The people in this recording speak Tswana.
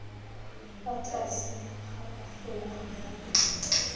fa tlase ga folaga ya